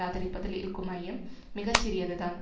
ஆதரிப்பதில் இருக்கும் ஐயம் மிக சிறியது தான்